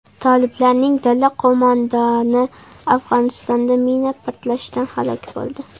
Toliblarning dala qo‘mondoni Afg‘onistonda mina portlashidan halok bo‘ldi.